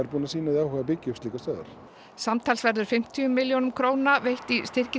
búnir að sýna því áhuga að byggja upp slíkar stöðvar samtals verða fimmtíu milljónir króna veittar í styrki